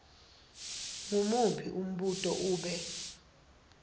ngumuphi umbuto ube